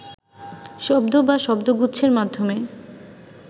শব্দ বা শব্দগুচ্ছের মাধ্যমে